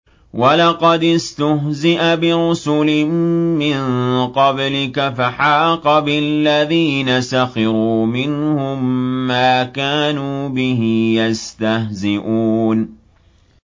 وَلَقَدِ اسْتُهْزِئَ بِرُسُلٍ مِّن قَبْلِكَ فَحَاقَ بِالَّذِينَ سَخِرُوا مِنْهُم مَّا كَانُوا بِهِ يَسْتَهْزِئُونَ